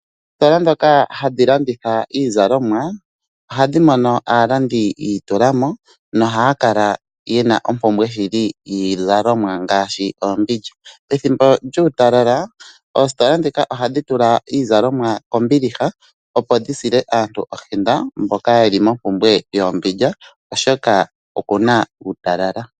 Oositola ndhoka hadhi landitha iizalomwa, khadhi mono aalandi ya itulamo, no haya kala yena ompumbwe shili yiizalomwa ngaashi oombindja. Pethimbo lyuu talala oostola ndhika ohadhi tula iizalkmwa kombiliha opo dhi sile aantu ohenda mboka yeli mo mpumbwe yoombindja oshoka okuna uutalala.